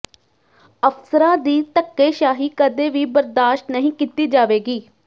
ਅਫਸਰਾਂ ਦੀ ਧੱਕੇਸ਼ਾਹੀ ਕਦੇ ਵੀ ਬਰਦਾਸ਼ਤ ਨਹੀਂ ਕੀਤੀ ਜਾਵੇਗੀ